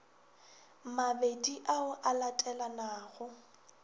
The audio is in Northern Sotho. mabedi ao a latelanago o